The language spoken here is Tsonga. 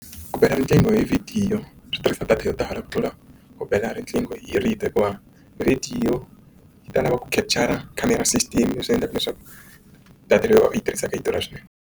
Ku bela riqingho hi vhidiyo switirhisiwa data yo tala ku tlula ku bela riqingho hi rito hikuva vhidiyo yi ta lava ku khotshara khamera system leswi endlaka leswaku data leyi u yi tirhisaka yi durha swinene.